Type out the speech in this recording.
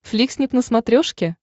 фликснип на смотрешке